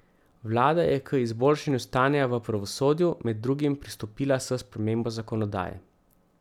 Vlada je k izboljšanju stanja v pravosodju med drugim pristopila s spremembo zakonodaje.